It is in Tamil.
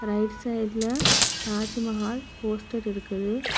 ரைட் சைட்ல தாஜ்மஹால் போஸ்டர் இருக்குது.